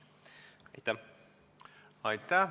Aitäh!